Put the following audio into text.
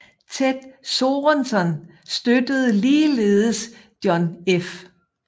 Ted Sorensen støttede ligeledes John F